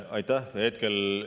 Aitäh!